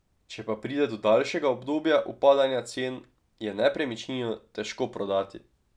Če pa pride do daljšega obdobja upadanja cen, je nepremičnino težko prodati.